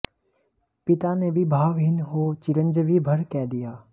पिता ने भी भावहीन हो चिरंजीवी भर कह दिया